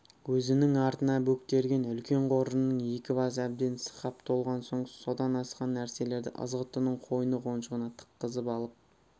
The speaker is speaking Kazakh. өзінің артына бөктерген үлкен қоржынның екі басы әбден сықап толған соң содан асқан нәрселерді ызғұттының қойны-қоншына тыққызып алып